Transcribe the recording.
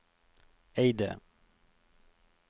Eide